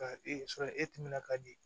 Ka ee e timinan ka di